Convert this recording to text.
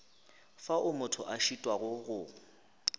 fao motho a šitwago go